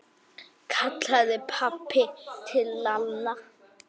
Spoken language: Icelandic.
kallaði pabbi til Lalla.